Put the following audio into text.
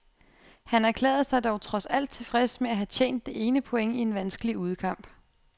Han erklærede sig dog trods alt tilfreds med at have tjent det ene point i en vanskelig udekamp.